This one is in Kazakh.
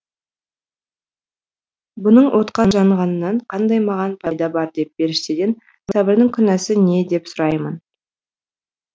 бұның отқа жанғанынан қандай маған пайда бар деп періштеден сабырдың күнәсі не деп сұраймын